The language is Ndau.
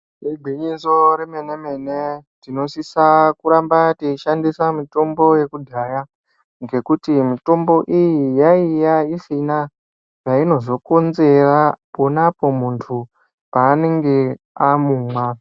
Igwinyiso remene mene tinosisa kuramba teishandisa mutombo yekudhaya ngekuti mutombo iyi yaiya isina cheinozokonzera ponapo muntu paanenge amumwa.